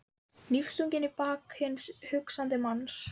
Hnífstungur í bak hins hugsandi manns.